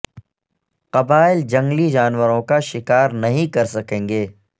قبائل جنگلی جانوروں کا شکار نہیں کر سکیں گے